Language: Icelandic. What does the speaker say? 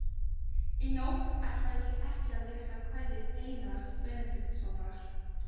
Í nótt ætla ég ekki að lesa kvæði Einars Benediktssonar.